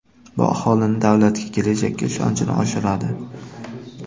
Bu aholining davlatga, kelajakka ishonchini oshiradi.